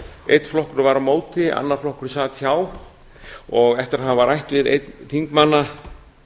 einn flokkur var á móti annar flokkur sat hjá eftir að hafa rætt við einn þingmanna